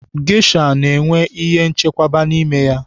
Gesha na-enwe ihe nchekwaba n'ime ya.